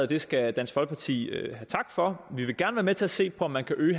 det skal dansk folkeparti have tak for vi vil gerne være med til at se på om man kan øge